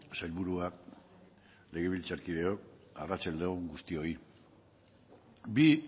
sailburuak legebiltzarkideok arratsalde on guztioi bi